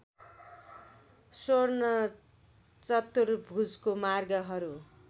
स्वर्ण चतुर्भुजको मार्गहरू